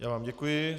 Já vám děkuji.